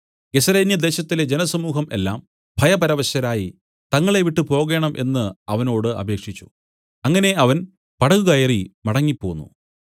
ഗെരസേന്യദേശത്തിലെ ജനസമൂഹം എല്ലാം ഭയപരവശരായി തങ്ങളെ വിട്ടുപോകേണം എന്നു അവനോട് അപേക്ഷിച്ചു അങ്ങനെ അവൻ പടകുകയറി മടങ്ങിപ്പോന്നു